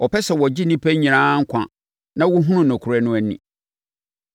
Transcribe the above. ɔpɛ sɛ wɔgye nnipa nyinaa nkwa na wɔhunu nokorɛ no ani.